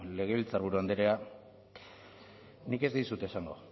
legebiltzarburu andrea nik ez dizut esango